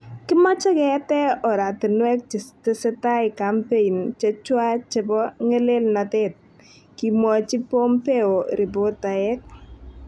Kimoche keete oratinwek chetesetai kampein chechwaa chepo. ngelelnotet"kimwochi Pompeo ripotaek.